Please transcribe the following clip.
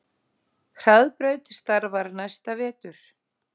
Hraðbraut starfar næsta vetur